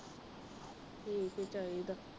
ਠੀਕ ਈ ਚਾਹੀਦਾ।